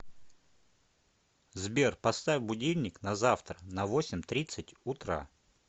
сбер поставь будильник на завтра на восемь тридцать утра